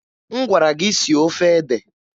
M gwara gị sie ofe ede!